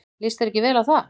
Líst þér ekki vel á það?